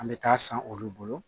An bɛ taa san olu bolo